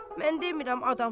Mən demirəm adam çağır.